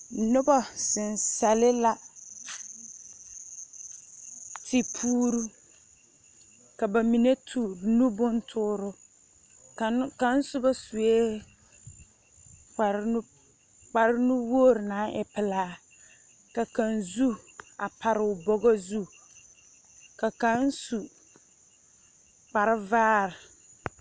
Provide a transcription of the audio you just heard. Nobɔ zeŋ sɛle la, tepuuru, ka ba mine tuŋ nu bontooro, ka n kaŋ soba kpare nu kpanuwogri naŋ e pelaa, ka kaŋ su, a pare o bɔgɔ zu, ka kaŋ su kparevaa.